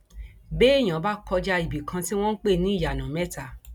béèyàn bá kọjá ibì kan tí wọn ń pè ní iyanamẹta